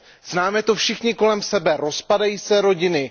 Známe to všichni kolem sebe, rozpadají se rodiny.